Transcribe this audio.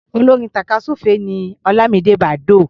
Olórin tàkásùfé ni Ọlámidé Bàdóò.